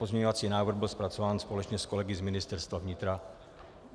Pozměňovací návrh byl zpracován společně s kolegy z Ministerstva vnitra.